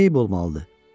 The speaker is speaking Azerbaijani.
Niyə eyib olmalıdır?